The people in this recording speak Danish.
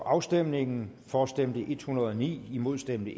afstemningen for stemte en hundrede og ni imod stemte